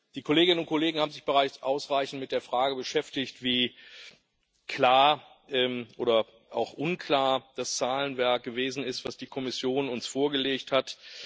Die Kolleginnen und Kollegen haben sich bereits ausreichend mit der Frage beschäftigt, wie klar oder auch unklar das Zahlenwerk gewesen ist, das die Kommission uns vorgelegt hat.